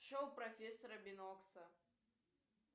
шоу профессора бинокса